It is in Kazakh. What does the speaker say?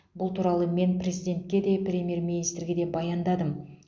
бұл туралы мен президентке де премьер министрге де баяндадым